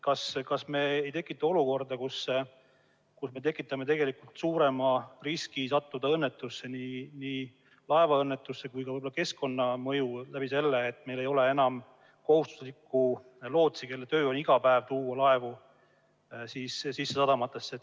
Kas me ei tekita suuremat riski sattuda õnnetusse, nii laevaõnnetusse kui ka keskkonnaõnnetusse, kui meil ei ole enam kohustuslikku lootsi, kelle töö on iga päev laevu sadamatesse tuua?